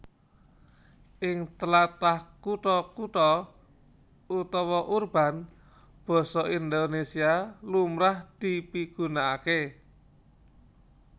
Ing tlatah kutha kutha utawa urban basa Indonésia lumrah dipigunakaké